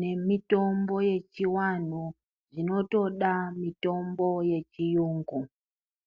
nemitombo yechivantu zvinotoda mitombo yechiyungu.